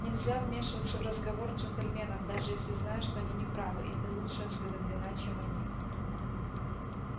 нельзя вмешиваться в разговор джентльменов даже если знаешь что они не правы и ты лучше осведомлена чем они